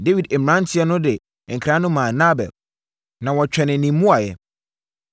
Dawid mmeranteɛ no de nkra no maa Nabal na wɔtwɛnee ne mmuaeɛ.